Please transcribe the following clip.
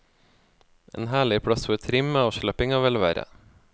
En herlig plass for trim, avslapping og velvære.